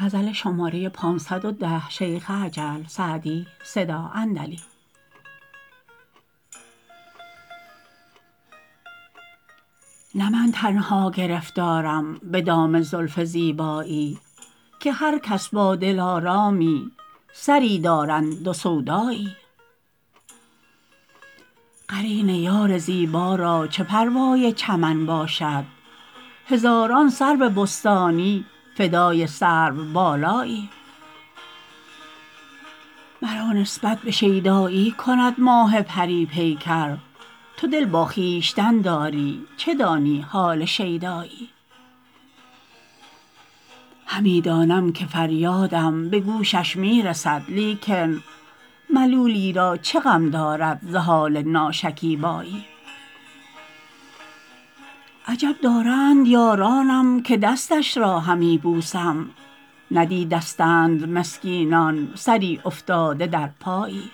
نه من تنها گرفتارم به دام زلف زیبایی که هر کس با دلآرامی سری دارند و سودایی قرین یار زیبا را چه پروای چمن باشد هزاران سرو بستانی فدای سروبالایی مرا نسبت به شیدایی کند ماه پری پیکر تو دل با خویشتن داری چه دانی حال شیدایی همی دانم که فریادم به گوشش می رسد لیکن ملولی را چه غم دارد ز حال ناشکیبایی عجب دارند یارانم که دستش را همی بوسم ندیدستند مسکینان سری افتاده در پایی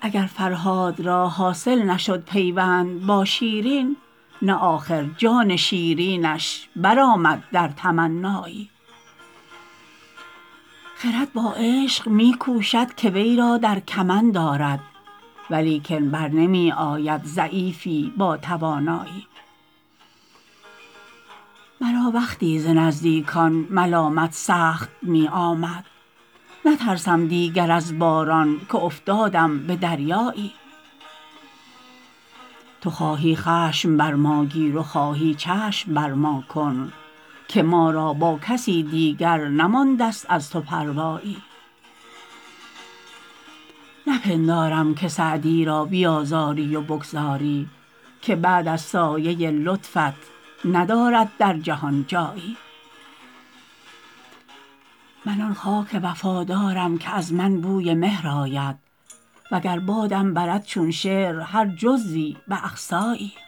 اگر فرهاد را حاصل نشد پیوند با شیرین نه آخر جان شیرینش برآمد در تمنایی خرد با عشق می کوشد که وی را در کمند آرد ولیکن بر نمی آید ضعیفی با توانایی مرا وقتی ز نزدیکان ملامت سخت می آمد نترسم دیگر از باران که افتادم به دریایی تو خواهی خشم بر ما گیر و خواهی چشم بر ما کن که ما را با کسی دیگر نمانده ست از تو پروایی نپندارم که سعدی را بیآزاری و بگذاری که بعد از سایه لطفت ندارد در جهان جایی من آن خاک وفادارم که از من بوی مهر آید و گر بادم برد چون شعر هر جزوی به اقصایی